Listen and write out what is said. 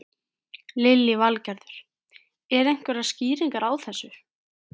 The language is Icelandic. Lillý Valgerður: Eru einhverjar skýringar á þessu?